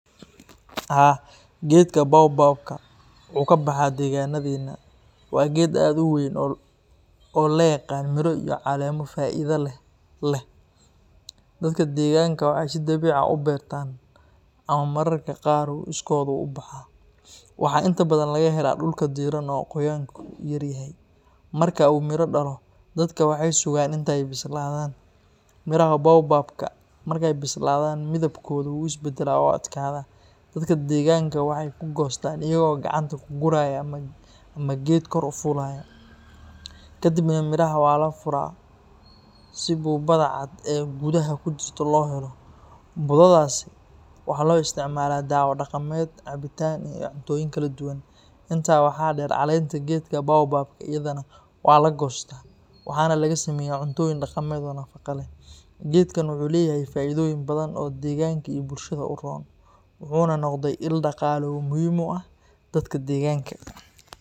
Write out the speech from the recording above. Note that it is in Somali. Haa, geedka baobab-ka wuu ka baxaa deegaanadeenna. Waa geed aad u weyn oo la yaqaan miro iyo caleemo faa’iido leh leh. Dadka deegaanka waxay si dabiici ah u beertaan ama mararka qaar wuu iskood u baxaa. Waxaa inta badan laga helaa dhulka diiran oo qoyaanku yar yahay. Marka uu miro dhalo, dadka waxay sugaan inta ay bislaadaan. Miraha baobab-ka marka ay bislaadaan, midabkooda wuu is beddelaa oo adkaado. Dadka deegaanka waxay ku goostaan iyaga oo gacanta ku guraya ama geedka kor u fuulaya. Ka dibna miraha waa la furaa si budada cad ee gudaha ku jirta loo helo. Budadaasi waxaa loo isticmaalaa daawo dhaqameed, cabitaan iyo cuntooyin kala duwan. Intaa waxaa dheer, caleenta geedka baobab-ka iyadana waa la goostaa, waxaana laga sameeyaa cuntooyin dhaqameed oo nafaqo leh. Geedkan wuxuu leeyahay faa’iidooyin badan oo deegaanka iyo bulshada u roon, wuxuuna noqday il dhaqaale oo muhiim u ah dadka deegaanka.